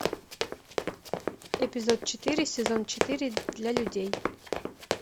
эпизод четыре сезон четыре для людей